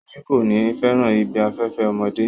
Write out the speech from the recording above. Soji ko ni fẹràn ibi afẹfẹ ọmọdé.